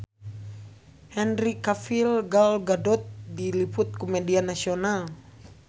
Henry Cavill Gal Gadot diliput ku media nasional